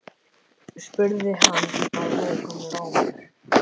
spurði hann að lokum rámur.